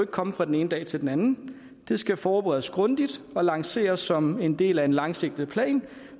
komme fra den ene dag til den anden det skal forberedes grundigt og lanceres som en del af en langsigtet plan